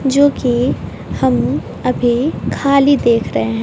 जो की हम अभी खाली देख रहे हैं।